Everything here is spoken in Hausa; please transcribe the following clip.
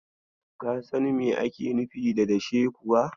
Ka san me ake nufi da dashe kuwa?